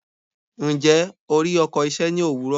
Ǹjẹ́, o rí ọkọ̀ iṣẹ́ ní òwúrọ̀?